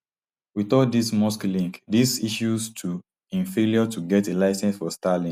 wit all dis musk link dis issues to im failure to get a licence for starlink